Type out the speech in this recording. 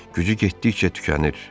Gücü getdikcə tükənir.